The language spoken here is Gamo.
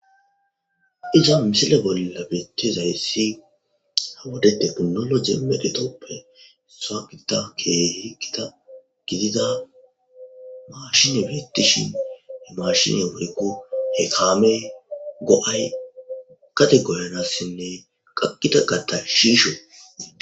Iza misile bolla betizaysi ha'i wode tekinoloje medhotappe Issuwa gidida Keehi Gita gidida maashiney beetishe maashiney woyko he kaamey go'ayi gade goyanasinne gakida kata shiisho ..